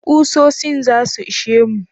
Kusosin zasu ishe mu?